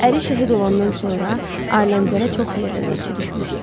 Əri şəhid olandan sonra Aləmqəzərə çox yerdən elçi düşmüşdü.